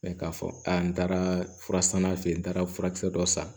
k'a fɔ a n taara fura sanna fɛ yen n taara furakisɛ dɔ san